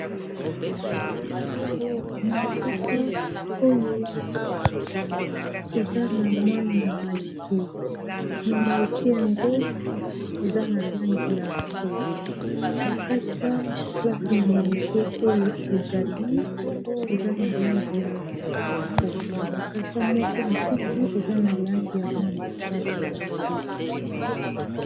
na makasa oyo eza na mwa nyama muke , yango eza na langi ya bwe makasa oyo ezali na langi ya pondu, makasa moko mosusu eza na langi ya mwa mosaka .